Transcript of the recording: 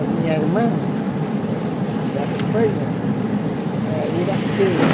A minha irmã, da Espanha, é Iracema.